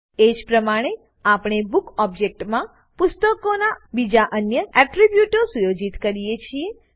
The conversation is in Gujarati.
એજ પ્રમાણે આપણે બુક ઓબજેક્ટમાં પુસ્તકોનાં બીજા અન્ય એટ્રીબ્યુટો સુયોજિત કરીએ છીએ